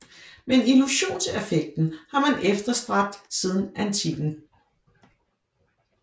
Men illusionseffekten har man efterstræbt siden antikken